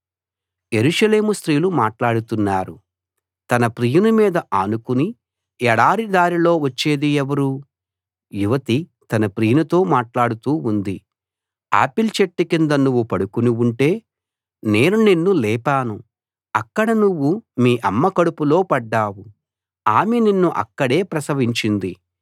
[ఆరవ భాగంముగింపు] యెరూషలేము స్త్రీలు మాట్లాడుతున్నారు తన ప్రియుని మీద ఆనుకుని ఎడారి దారిలో వచ్చేది ఎవరు యువతి తన ప్రియునితో మాట్లాడుతూ ఉంది ఆపిల్ చెట్టు కింద నువ్వు పడుకుని ఉంటే నేను నిన్ను లేపాను అక్కడ నువ్వు మీ అమ్మ కడుపులో పడ్డావు ఆమె నిన్ను అక్కడే ప్రసవించింది